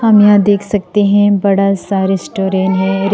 यहां देख सकते हैं बडा सा रेस्टोरेंट है।